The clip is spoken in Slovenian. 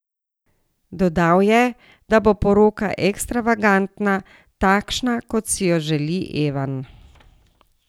Dodal je, da bo poroka ekstravagantna, takšna, kot si jo želi Evan.